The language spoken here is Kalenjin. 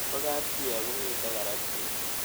Po kapchii akomito karatik